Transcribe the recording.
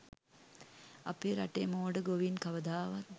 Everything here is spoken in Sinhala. අපේ රටේ මෝඩ ගොවීන් කවදාවත්